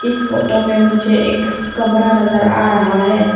इस फोटो मे मुझे एक कमरा नजर आ रहा है।